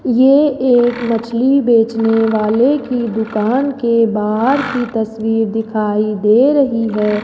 ये एक मछली बेचने वाले की दुकान के बाहर की तस्वीर दिखाई दे रही है।